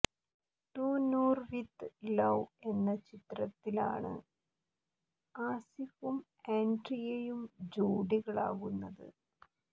to Noor with love എന്ന ചിത്രത്തിലാണ് ആസിഫും ആന്ഡ്രിയയും ജോഡികളാകുന്നത്